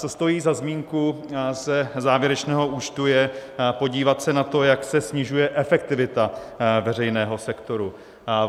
Co stojí za zmínku ze závěrečného účtu, je podívat se na to, jak se snižuje efektivita veřejného sektoru.